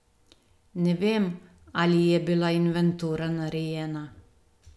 Ne vem, ali je bila inventura narejena.